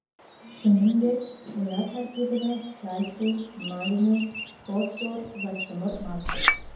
Shuningdek, ular tarkibida kalsiy, magniy, fosfor va temir mavjud.